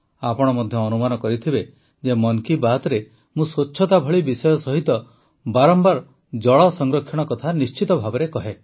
ଆପଣ ମଧ୍ୟ ଅନୁମାନ କରିଥିବେ ଯେ ମନ କୀ ବାତ୍ରେ ମୁଁ ସ୍ୱଚ୍ଛତା ଭଳି ବିଷୟ ସହିତ ବାରମ୍ବାର ଜଳ ସଂରକ୍ଷଣ କଥା ନିଶ୍ଚିତ ଭାବେ କହେ